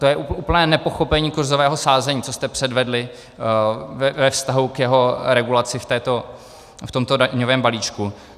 To je úplné nepochopení kurzového sázení, co jste předvedli ve vztahu k jeho regulaci v tomto daňovém balíčku.